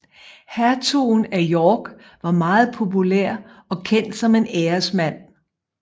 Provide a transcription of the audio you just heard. Hertugen af York var meget populær og kendt som en æresmand